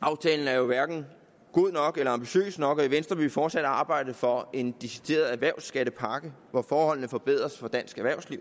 aftalen er jo hverken god nok eller ambitiøs nok og i venstre vil vi fortsat arbejde for en decideret erhvervsskattepakke hvor forholdene forbedres for dansk erhvervsliv